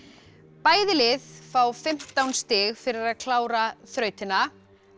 bæði lið fá fimmtán stig fyrir að klára þrautina